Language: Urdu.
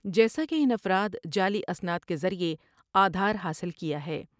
جیسا کہ ان افراد جعلی اسناد کے ذریعہ آدھار حاصل کیا ہے ۔